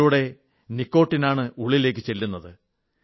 ഇതിലൂടെ നിക്കോട്ടിനാണ് ഉള്ളിലേക്കു ചെല്ലുന്നത്